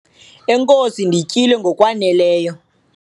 enkosi, ndityile ngokwaneleyo